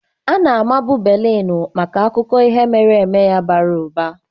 Ana-amabu Berlin maka akụkọ ihe mere eme ya bara ụba.